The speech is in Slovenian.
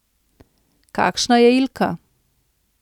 Kakšna je Ilka?